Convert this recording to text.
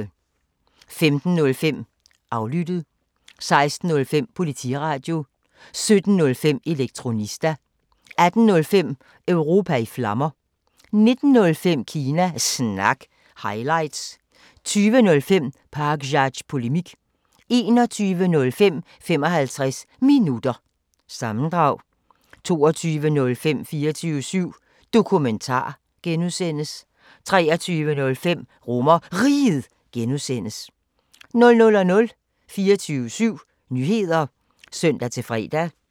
15:05: Aflyttet 16:05: Politiradio 17:05: Elektronista 18:05: Europa i Flammer 19:05: Kina Snak – highlights 20:05: Pakzads Polemik 21:05: 55 Minutter – sammendrag 22:05: 24syv Dokumentar (G) 23:05: RomerRiget (G) 00:00: 24syv Nyheder (søn-fre)